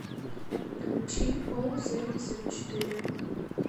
включи оу семьдесят четыре